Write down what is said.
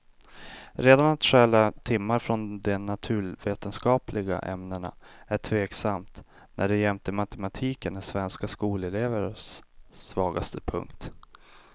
Redan att stjäla timmar från de naturvetenskapliga ämnena är tveksamt, när de jämte matematiken är svenska skolelevers svagaste punkt.